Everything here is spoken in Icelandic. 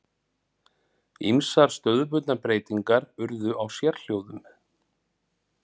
Ýmsar stöðubundnar breytingar urðu á sérhljóðum.